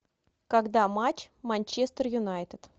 когда матч манчестер юнайтед